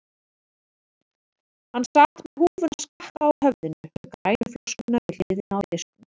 Hann sat með húfuna skakka á höfðinu með grænu flöskuna við hliðina á disknum.